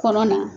Kɔnɔ na